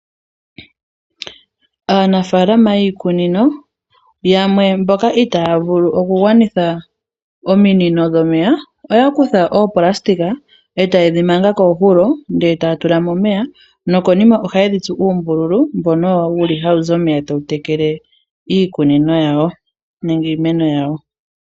Aanafalama yiikunino, yamwe mboka itaaya vulu okugwanitha ominino dhomeya, oya kutha oonayilona, e tayedhi manga koohulo, taya tulamo omeya, nokonima ohayedhi tsu oombululu, mbono owo wuli hawuzi omeya tawu tekele iikunino yawo, nenge iimeno yawo.